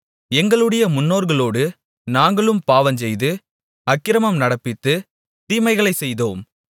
எங்களுடைய முன்னோர்களோடு நாங்களும் பாவஞ்செய்து அக்கிரமம் நடப்பித்து தீமைகளைச் செய்தோம்